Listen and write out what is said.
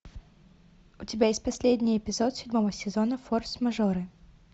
у тебя есть последний эпизод седьмого сезона форс мажоры